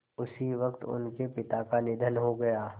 उसी वक़्त उनके पिता का निधन हो गया